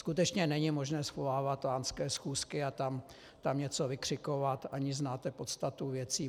Skutečně není možné svolávat lánské schůzky a tam něco vykřikovat, aniž znáte podstatu věcí.